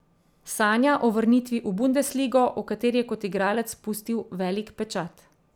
Sanja o vrnitvi v bundesligo, v kateri je kot igralec pustil velik pečat.